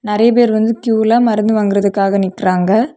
நறைய பேர் வந்து கியூல மருந்து வாங்குறதுக்காக நிக்கிறாங்க.